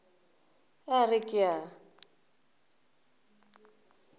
ge a re ke a